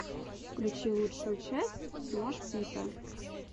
включи лучшую часть смош пита